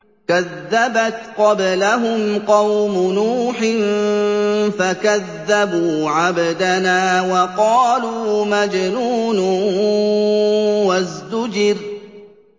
۞ كَذَّبَتْ قَبْلَهُمْ قَوْمُ نُوحٍ فَكَذَّبُوا عَبْدَنَا وَقَالُوا مَجْنُونٌ وَازْدُجِرَ